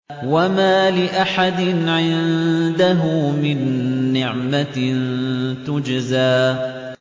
وَمَا لِأَحَدٍ عِندَهُ مِن نِّعْمَةٍ تُجْزَىٰ